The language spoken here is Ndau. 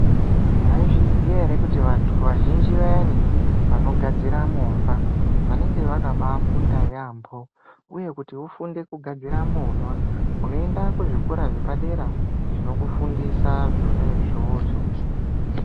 Maizviziya ere kuti vanhu vazhinji vayani vanogadzira movha vanenge vakafunda yaambo vofundira kugadzira movha voenda kuzvikora zvepadera zvokufundisa zvona izvozvo.